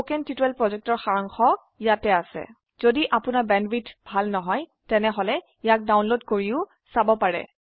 1 কথন শিক্ষণ প্ৰকল্পৰ সাৰাংশ ইয়াত আছে যদি আপোনাৰ বেণ্ডৱিডথ ভাল নহয় তেনেহলে ইয়াক ডাউনলোড কৰি চাব পাৰে